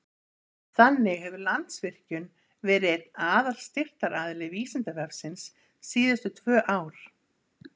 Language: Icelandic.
Þannig hefur Landsvirkjun verið einn aðalstyrktaraðili Vísindavefsins síðustu tvö ár.